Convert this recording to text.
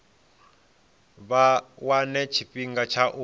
vha wane tshifhinga tsha u